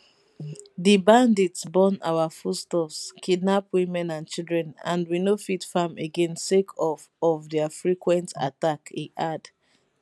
di bandits burn our foodstuffs kidnap women and children and we no fit farm again sake of of dia frequent attack e add